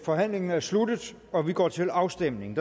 forhandlingen er sluttet og vi går til afstemning